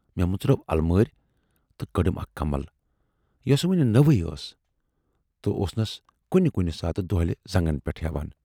مے مُژرٲو المٲرۍ تہٕ کٔڈٕم اَکھ کمل، یۅسہٕ وُنہِ نٔوٕے ٲس تہٕ اوسنس کُنہِ کُنہِ ساتہٕ دۅہلہِ زَنگن پٮ۪ٹھ ہٮ۪وان۔